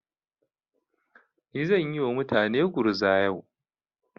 Ni zan yi wa mutane gurza yau.